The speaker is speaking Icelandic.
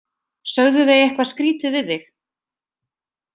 Sögðu þau eitthvað skrítið við þig?